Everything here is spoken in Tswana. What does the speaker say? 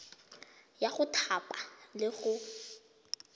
ya go thapa le go